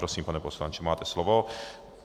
Prosím, pane poslanče, máte slovo.